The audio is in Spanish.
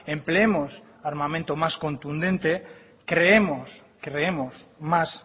empleemos armamento más contundente creemos creemos más